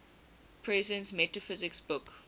presence metaphysics book